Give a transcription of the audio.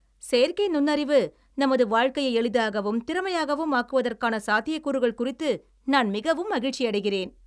செயற்கை நுண்ணறிவு நமது வாழ்க்கையை எளிதாகவும் திறமையாகவும் ஆக்குவதற்கான சாத்தியக்கூறுகள் குறித்து நான் மிகவும் மகிழ்ச்சியடைகிறேன்.